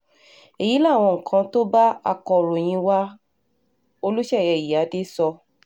èyí làwọn nǹkan tó bá akọ̀ròyìn wa olùṣeyè ìyíáde sọ